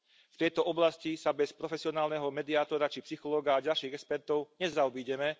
V tejto oblasti sa bez profesionálneho mediátora či psychológa a ďalších expertov nezaobídeme.